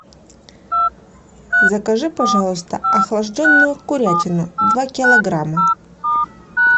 закажи пожалуйста охлажденную курятину два килограмма